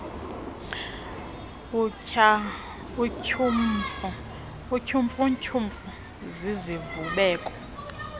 utyhumfu tyhumfu zizivubeko